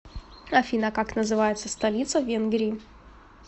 афина как называется столица венгрии